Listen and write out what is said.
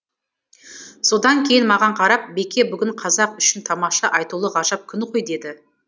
содан кейін маған қарап беке бүгін қазақ үшін тамаша айтулы ғажап күн ғой деді